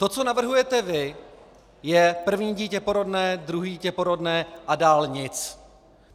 To, co navrhujete vy, je první dítě porodné, druhé dítě porodné a dál nic.